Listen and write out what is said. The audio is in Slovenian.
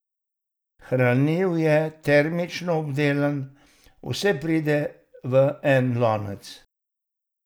Hranljiv je, termično obdelan, vse pride v en lonec.